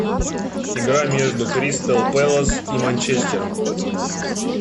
игра между кристал пэлас и манчестером